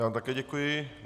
Já vám také děkuji.